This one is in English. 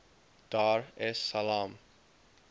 dar es salaam